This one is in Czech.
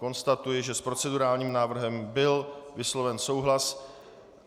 Konstatuji, že s procedurálním návrhem byl vysloven souhlas.